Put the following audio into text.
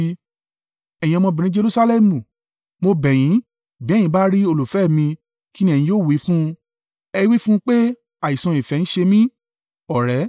Ẹ̀yin ọmọbìnrin Jerusalẹmu, mo bẹ̀ yín bí ẹ̀yin bá rí olùfẹ́ mi, kí ni ẹ̀yin yóò wí fún un? Ẹ wí fún un pé àìsàn ìfẹ́ ń ṣe mi.